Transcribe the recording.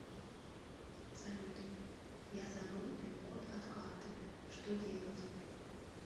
салют я забыл пин код от карты что делать